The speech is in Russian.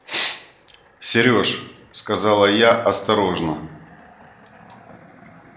серёж сказала я осторожно